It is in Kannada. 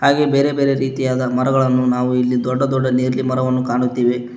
ಹಾಗೆ ಬೇರೆ ಬೇರೆ ರೀತಿಯಾದ ಮರಗಳನ್ನು ನಾವು ಇಲ್ಲಿ ದೊಡ್ಡ ದೊಡ್ಡದ ನೇರಳೆ ಮರವನ್ನು ಕಾಣುತ್ತಿವೆ.